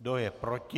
Kdo je proti?